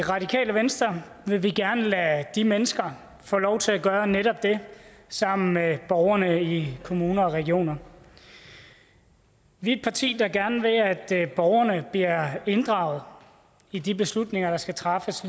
i radikale venstre vil vi gerne lade de mennesker få lov til at gøre netop det sammen med borgerne i kommuner og regioner vi er et parti der gerne vil at borgerne bliver inddraget i de beslutninger der skal træffes